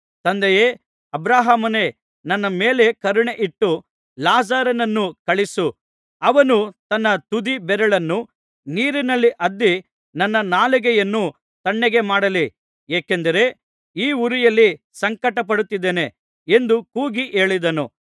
ತಂದೆಯೇ ಅಬ್ರಹಾಮನೇ ನನ್ನ ಮೇಲೆ ಕರುಣೆ ಇಟ್ಟು ಲಾಜರನನ್ನು ಕಳುಹಿಸು ಅವನು ತನ್ನ ತುದಿ ಬೆರಳನ್ನು ನೀರಿನಲ್ಲಿ ಅದ್ದಿ ನನ್ನ ನಾಲಿಗೆಯನ್ನು ತಣ್ಣಗೆ ಮಾಡಲಿ ಏಕೆಂದರೆ ಈ ಉರಿಯಲ್ಲಿ ಸಂಕಟಪಡುತ್ತಿದ್ದೇನೆ ಎಂದು ಕೂಗಿ ಹೇಳಿದನು